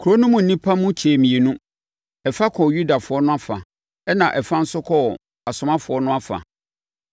Kuro no mu nnipa no mu kyɛɛ mmienu; ɛfa kɔɔ Yudafoɔ no afa na ɛfa nso kɔɔ asomafoɔ no afa.